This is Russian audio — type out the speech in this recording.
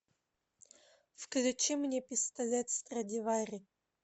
включи мне пистолет страдивари